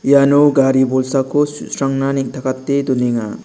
iano gari bolsako su·srangna neng·takate donenga.